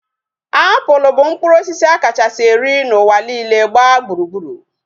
Apụl bụ mkpụrụ osisi a kachasị eri n'ụwa niile gbaa gburugburu